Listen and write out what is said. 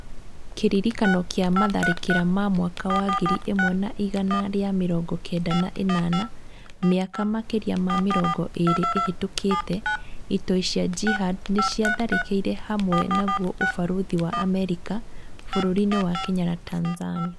Kĩririkano kĩa matharĩkĩra ma mwaka wa ngiri ĩmwe na igana rĩa mĩrongo kenda na ĩnana, mĩaka makĩria ma mĩrongo ĩrĩ ĩhĩtũkĩte, itoi cia Jihad nĩciatharĩkiĩre hamwe naguo ũbarũthi wa Amerika bũrũri-inĩ wa Kenya na Tanzania.